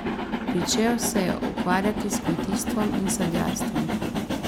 Pričel se je ukvarjati s kmetijstvom in sadjarstvom.